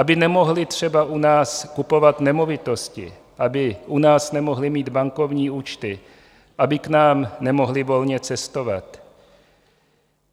Aby nemohli třeba u nás kupovat nemovitosti, aby u nás nemohli mít bankovní účty, aby k nám nemohli volně cestovat.